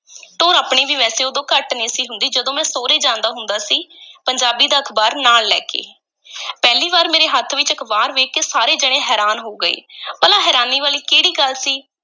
ਟੌਰ ਆਪਣੀ ਵੀ ਵੈਸੇ ਉਦੋਂ ਘੱਟ ਨਹੀਂ ਸੀ ਹੁੰਦੀ ਜਦੋਂ ਮੈਂ ਸੌਹਰੇ ਜਾਂਦਾ ਹੁੰਦਾ ਸੀ ਪੰਜਾਬੀ ਦਾ ਅਖ਼ਬਾਰ ਨਾਲ ਲੈ ਕੇ ਪਹਿਲੀ ਵਾਰ ਮੇਰੇ ਹੱਥ ਵਿੱਚ ਅਖ਼ਬਾਰ ਵੇਖ ਕੇ ਸਾਰੇ ਜਣੇ ਹੈਰਾਨ ਹੋ ਗਏ। ਭਲਾ ਹੈਰਾਨੀ ਵਾਲੀ ਕਿਹੜੀ ਗੱਲ ਸੀ?